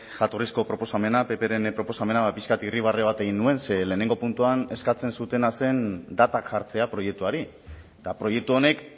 jatorrizko proposamena ppren proposamena ba pixka bat irribarre bat egin nuen ze lehenengo puntuan eskatzen zutena zen datak jartzea proiektuari eta proiektu honek